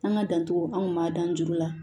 An ka dan cogo anw m'a dan juru la